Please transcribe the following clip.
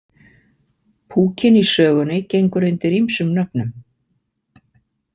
Púkinn í sögunni gengur undir ýmsum nöfnum.